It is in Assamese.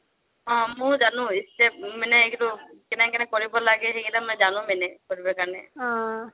অ ময়ো জানো মানে, কেকেনেকৈ কৰিব লাগে সেইটো জানো মানে কৰিবৰ কাৰণে।